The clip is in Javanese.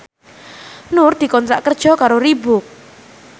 Nur dikontrak kerja karo Reebook